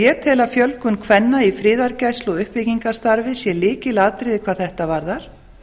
ég tel að fjölgun kvenna í friðargæslu og uppbyggingarstarfi sé lykilatriði hvað þetta varðar